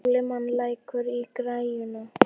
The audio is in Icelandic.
Sólimann, lækkaðu í græjunum.